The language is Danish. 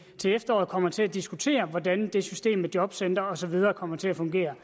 til efteråret kommer til at diskutere hvordan det system med jobcentre og så videre kommer til at fungere